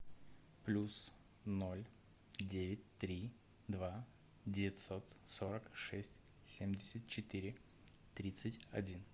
плюс ноль девять три два девятьсот сорок шесть семьдесят четыре тридцать один